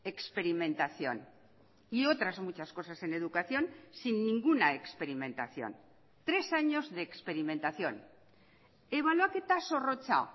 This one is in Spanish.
experimentación y otras muchas cosas en educación sin ninguna experimentación tres años de experimentación ebaluaketa zorrotza